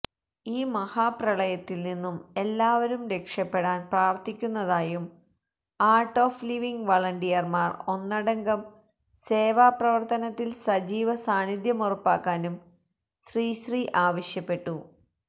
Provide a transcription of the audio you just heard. ഈ മഹാപ്രളയത്തിൽനിന്നും എല്ലാവരും രക്ഷപ്പെടാൻ പ്രാർത്ഥിക്കുന്നതായും ആർട് ഓഫ് ലിവിംഗ് വളണ്ടിയർമാർ ഒന്നടങ്കം സേവാപ്രവർത്തനത്തിൽ സജീവ സാന്നിദ്ധ്യമുറപ്പാക്കാനും ശ്രീശ്രീ ആവശ്യപ്പെട്ടു